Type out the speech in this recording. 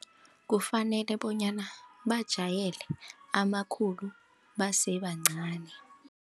Kufanele bonyana bajayele amakhulu basebancani.